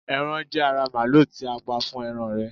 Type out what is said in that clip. eran je ara maalu ti a pa fún eran rẹ